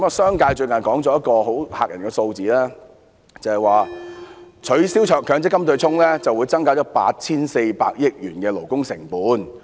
商界最近說了一個很嚇人的數字，就是取消強積金對沖，會增加 8,400 億元的勞工成本。